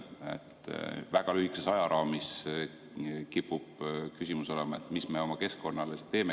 Väga lühikeses ajaraamis kipub küsimus olema, mis me oma keskkonnale siis teeme.